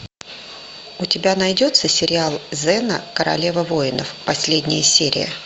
у тебя найдется сериал зена королева воинов последняя серия